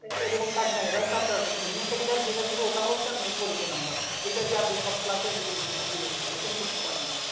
এরকম থাকবে না। এটা হচ্ছে আপনার ইউনিক আইডি কার্ড যেটা দিবে অইতা হচ্ছে আপনার পরিচয় নাম্বার যেটা দিয়ে আপনি সব ক্লাসের এটেন্ড করতে পারবেন